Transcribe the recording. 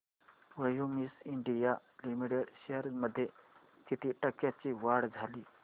Cummins India limited shares मध्ये किती टक्क्यांची वाढ झाली